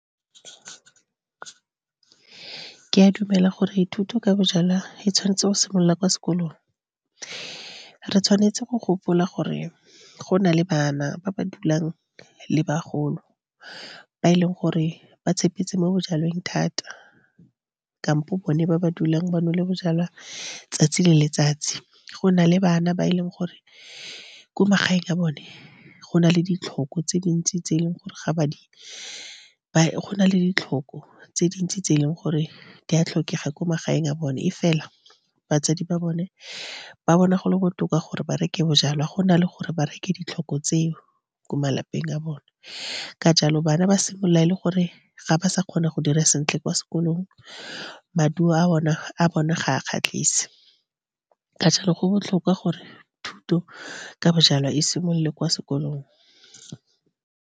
Ke a dumela gore thuto ka bojalwa e tshwanetse go simolola kwa sekolong. Re tshwanetse go gopola gore go na le bana ba ba dulang le bagolo ba e leng gore ba tshepetse mo bojalweng thata, kampo bone ba ba dulang ba nole bojalwa letsatsi le letsatsi. Go na le bana ba e leng gore ko magaeng a bone go na le ditlhoko tse dintsi, tse e leng gore ga ba di , go na le ditlhoko tse dintsi tse e leng gore di a tlhokega ko magaeng a bone, mme fela batsadi ba bone ba bona gole botoka gore ba reke bojalwa, go na le gore ba reke ditlhoko tseo ko malapeng a bone. Ka jalo, bana ba simolola e le gore ga ba sa kgona go dira sentle kwa sekolong. Maduo a bona ga a kgatlhise. Ka jalo, go botlhokwa gore thuto ka bojalwa e simolole kwa sekolong.